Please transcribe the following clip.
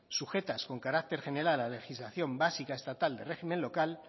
sujetas con carácter general a la legislación básica estatal de régimen local